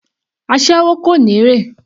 Aséwó kò ní èrè.